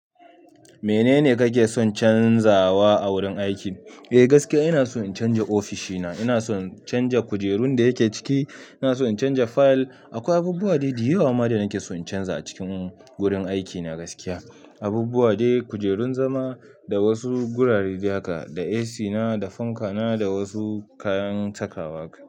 Menene kake son canzawa a wurin aikin? Eh" gaskiya ina son in canza ofishina. Ina son in canja kujerun da yake ciki. Ina son in canja fayil. Akwai abubuwa daidai da yawa ma da nake son in canza a cikin wurin aikina gaskiya. Abubuwa dai kujerun zama da wasu gurare da haka, da AC na, da fanka na, da wasu kayan takawa haka.